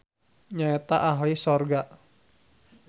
Nyaeta ahli sorga.